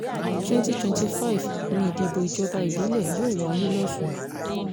2025 ni ìdìbò ìjọba ìbílẹ̀ yóò wáyé lọ́sùn